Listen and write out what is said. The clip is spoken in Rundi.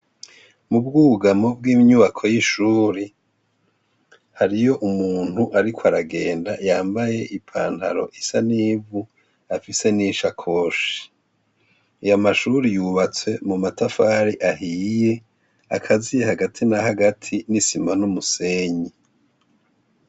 Mubwugamo bwinyubako y'ishuri hariy' umunt' arik' aragenda yambay' ipantar' isa n' ivu, afise n' sakoshi, ay' amashure yubatse n' amatafar'ahiy' akaziye hagati na hagati n' isima n' umusenyi.